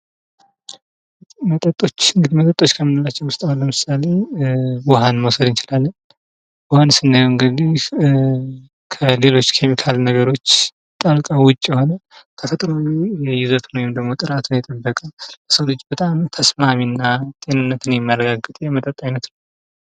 መጠጦች እንግዲህ መጠጦችው ከምንላቸው ውስጥ አሁን ለምሳሌ ውሃን መውሰድ እንችላለን ውሃን ስናየው እንግዲህ ከሌሎች ኬሚካል ነገሮች ጣልቃ ዉጭ የሆነ ተፈጥሮዊ ይዘቱን ወይም ደግሞ ያለው ጥራቱን የጠበቀ ለሰው ልጅ በጣም ተስማሚና ጤንነቱን የሚያረጋግጥ የመጠጥ አይነት ነው ::